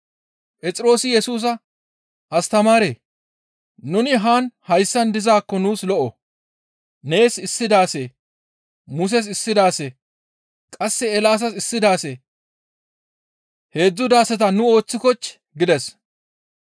Phexroosi Yesusa, «Astamaaree! Nuni haan hayssan dizaakko nuus lo7o; nees issi daase, Muses issi daase, qasse Eelaasas issi daase, heedzdzu daaseta nu ooththikochchii?» gides.